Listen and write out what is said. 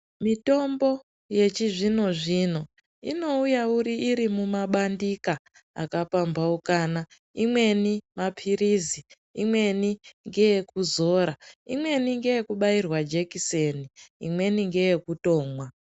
Mitombo yechizvino zvino inouya irimuma bandika akapambaukana, imweni mapiririzi, imweni ngeyekuzora, imweni ngeyekubairwa jekiseni imweni ngeyekutomwa.